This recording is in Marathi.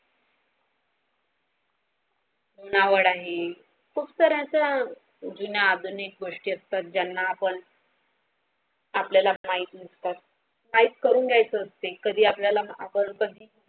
नावाड आहे खूप सार्‍या अस जुन्या आधुनिक गोष्टी असतात ज्यांना आपण आपल्याला माहिती नसतात माहित करून घ्यायच्या असते कधी आपल्याला कधी आपण